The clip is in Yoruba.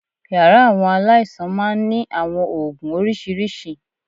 Yàrá àwọn aláìsàn máa ń ní àwọn oògùn oríṣiríṣi